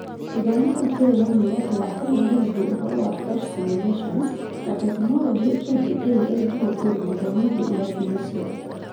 Gĩthomo kĩu kĩarĩ na muoroto wa kũmamenyithia ũhoro wa PhET simulations na tekinoronjĩ ingĩ iria ingĩhũthĩrũo gũthomithia irathi-inĩ ciao